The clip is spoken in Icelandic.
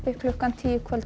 klukkan tíu í kvöld